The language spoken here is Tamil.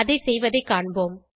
அதை செய்வதைக் காண்போம்